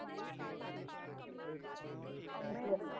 એટલે ફોન